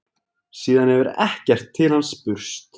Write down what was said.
Síðan hefur ekkert til hans spurst